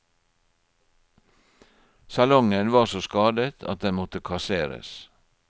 Salongen var så skadet at den måtte kasseres.